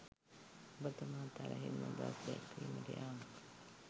ඔබ තුමා තරහින් අදහස් දැක්වීමට යාම